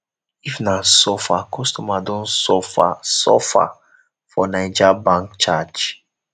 if na suffer customer don suffer suffer for naija bank charge